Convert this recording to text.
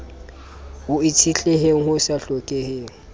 ho itshetleheng ho sa hlokeheng